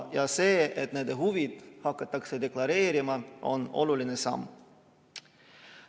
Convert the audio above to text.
Ja see, et nende huvisid hakatakse deklareerima, on oluline samm.